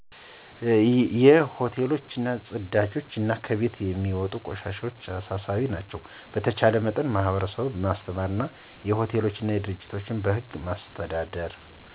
የ ሆቴሎች ጵዳጆች አና ከቤቶች የሚወጡ ቆሻሻዎች አሳሳቢ ናቸው። በተቻለ መጠን ማህበረሰቡን ማስተማርና የ ሆቴል ድርጅቶችን በህግ ማስተዳደር።